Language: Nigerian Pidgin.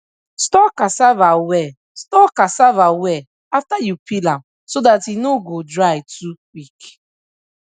store cassava well store cassava well after you peel am so dat e no go dry too quick